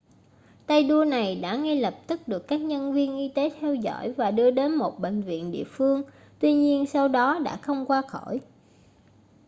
tay đua này đã ngay lập tức được các nhân viên y tế theo dõi và đưa đến một bệnh viện địa phương tuy nhiên sau đó đã không qua khỏi